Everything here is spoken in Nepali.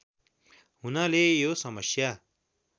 हुनाले यो समस्या